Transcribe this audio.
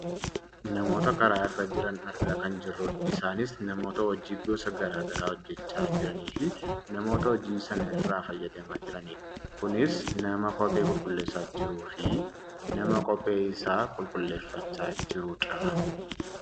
Namoota karaa irra jiran arga kan jirrudha. Isaanis namoota hojii gosa gara garaa hojjachaa jiraniifi namoota hojii sana irraa fayyadamaa jiranidha. Kunis nama kophee qulqulleessaa jiruufi nama kophee isaa qulqulleesifachaa jirudha.